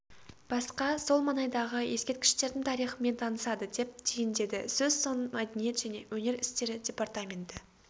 басқа сол маңайдағы ескерткіштердің тарихымен танысады деп түйіндеді сөз соңын мәдениет және өнер істері департаменті